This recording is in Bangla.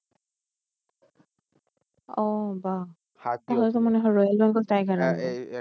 ও বা